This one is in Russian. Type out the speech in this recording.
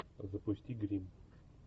запусти гримм